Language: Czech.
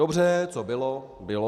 Dobře, co bylo, bylo.